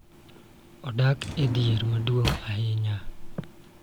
Odak e dhier maduong� ahinya.